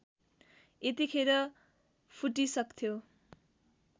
यतिखेर फुटिसक्थ्यो